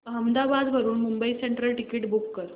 अहमदाबाद वरून Mumbai central ticket book कर